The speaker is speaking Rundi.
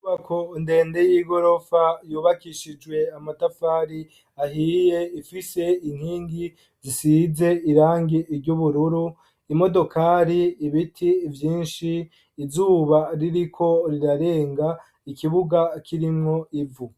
Inyubako ndende y'igorofa yubakishijwe amatafari ahiye, ifise inkingi zisize irangi ry'ubururu , imodokari, ibiti vyinshi , izuba ririko rirarenga , ikibuga kirimwo ivu